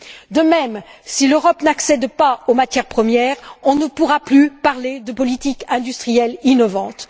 De même, si l'Europe n'accède pas aux matières premières, on ne pourra plus parler de politique industrielle innovante.